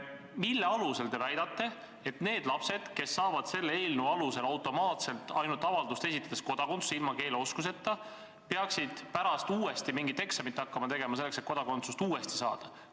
Mille alusel te väidate, et need lapsed, kes saavad selle eelnõu kohaselt automaatselt, ilma keeleoskuseta ja ainult avalduse esitamise peale kodakondsuse, peaksid pärast uuesti mingit eksamit hakkama tegema, et kodakondsust nagu uuesti saada?